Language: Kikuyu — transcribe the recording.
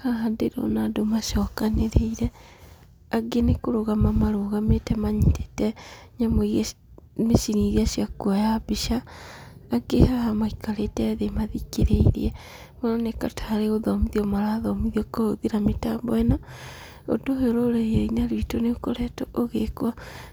Haha ndĩrona andũ macokanĩrĩire, angĩ nĩ kũrũgama marũgamĩte manyitĩte nyamũ irĩa mĩcini irĩa cia kuoya mbica, angĩ haha maikarĩte thĩ mathikĩrĩirie. Maroneka tarĩ gũthomithio marathomithio kũhũthĩra mĩtambo ĩno. Ũndũ ũyũ rũrĩrĩ-inĩ rwitũ nĩ ũkoretwo ũgĩkwo